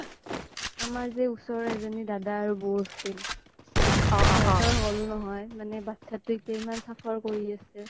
আমাৰ যে ওচৰৰ এজ্নী দাদা আৰু বৌ আছিল সিহ্তৰ হ্'ম নহয় মানে বাত্ছা তোয়ে এতিয়া ইমান suffer কৰি আছে